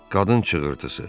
Qadın çığırtısı.